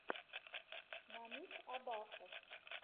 намик абасов